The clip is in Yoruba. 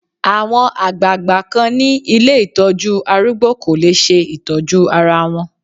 Àwọn àgbagbà kan ni ilé Ìtọ́jú arúgbó kò lè ṣe Ìtọ́jú ara wọn.